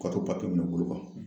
Wari papiye bɛ u bolo